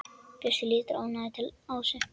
Bjössi lítur ánægður til Ásu.